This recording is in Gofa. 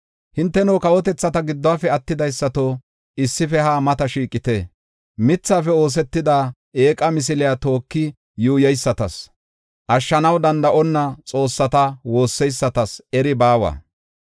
Hinteno kawotethata giddofe attidaysato, issife haa mata shiiqite. Mithafe oosetida eeqa misiliya tooki yuuyeysatas, ashshanaw danda7onna xoossata woosseysatas eri baawa.